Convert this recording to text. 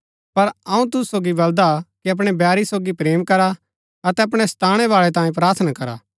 पर अऊँ तुसु सोगी बलदा कि अपणै बैरी सोगी प्रेम करा अतै अपणै सताणै बाळै तांयें प्रार्थना करा